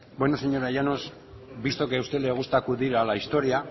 bueno señora llanos visto que a usted le gusta acudir a la historia